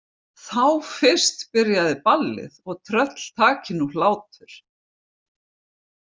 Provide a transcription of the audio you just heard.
Þá fyrst byrjaði ballið og tröll taki nú hlátur.